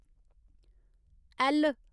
L